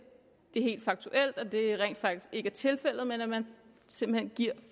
at det rent faktisk ikke er tilfældet men at man simpelt hen giver